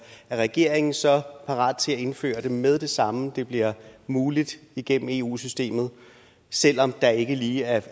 er regeringen så parat til at indføre det med det samme det bliver muligt igennem eu systemet selv om der ikke lige er